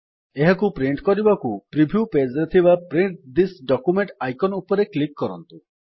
ଏହାକୁ ପ୍ରିଣ୍ଟ୍ କରିବାକୁ preview page ରେ ଥିବା ପ୍ରିଣ୍ଟ ଥିସ୍ ଡକ୍ୟୁମେଣ୍ଟ ଆଇକନ୍ ରେ କ୍ଲିକ୍ କରନ୍ତୁ